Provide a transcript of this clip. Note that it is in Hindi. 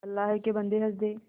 अल्लाह के बन्दे हंस दे